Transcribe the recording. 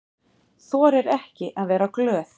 Þorir ekki að vera glöð.